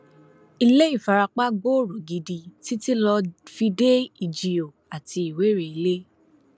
ilé ìfarapa gbòòrò gidi títí lọọ fi dé ìjío àti ìwéréilé